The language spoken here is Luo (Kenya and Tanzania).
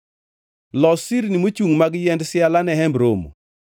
“Los sirni mochungʼ mag yiend siala ne Hemb Romo.